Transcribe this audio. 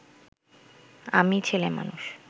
আমি ছেলেমানুষ